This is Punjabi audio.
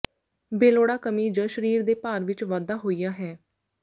ਬੇਲੋੜਾ ਕਮੀ ਜ ਸਰੀਰ ਦੇ ਭਾਰ ਵਿਚ ਵਾਧਾ ਹੋਇਆ ਹੈ